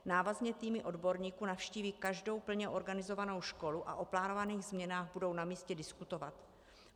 Návazně týmy odborníků navštíví každou plně organizovanou školu a o plánovaných změnách budou na místě diskutovat.